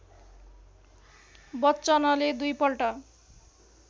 बच्चनले दुईपल्ट